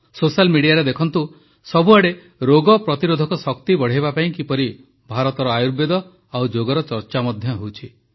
social ମିଡିଆରେ ଦେଖନ୍ତୁ ସବୁଆଡ଼େ ରୋଗ ପ୍ରତିରୋଧକ ଶକ୍ତି ବଢ଼ାଇବା ପାଇଁ କିପରି ଭାରତର ଆୟୁର୍ବେଦ ଓ ଯୋଗର ଚର୍ଚ୍ଚା ମଧ୍ୟ ହେଉଛି